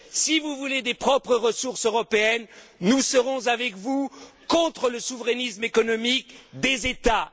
Si vous voulez des ressources européennes propres, nous serons avec vous contre le souverainisme économique des États.